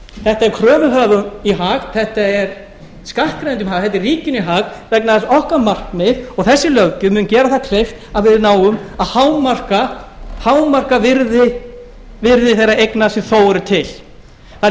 þetta er kröfuhöfum í hag þetta er skattgreiðendum í hag þetta er ríkinu í hag vegna þess að okkar markmið og þessi löggjöf mun gera það kleift að við náum að hámarka virði þeirra eigna sem þó eru til það